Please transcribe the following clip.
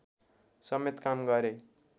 समेत काम गरे